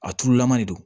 A turulama le don